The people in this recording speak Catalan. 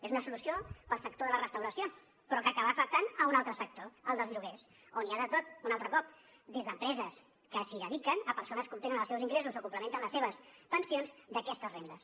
és una solució pel sector de la restauració però que acaba afectant un altre sector el dels lloguers on hi ha de tot un altre cop des d’empreses que s’hi dediquen a persones que obtenen els seus ingressos o complementen les seves pensions d’aquestes rendes